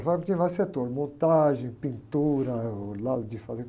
A fábrica tinha vários setores, montagem, pintura, eh, o lado de fazer...